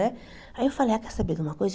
Né? Aí eu falei, ah quer saber de uma coisa?